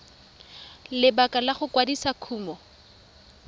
lebaka la go kwadisa kumo